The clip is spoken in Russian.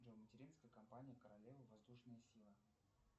джой материнская компания королевы воздушная сила